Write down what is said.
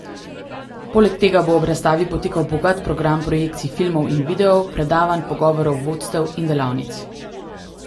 Poleg tega bo ob razstavi potekal bogat program projekcij filmov in videov, predavanj, pogovorov, vodstev in delavnic.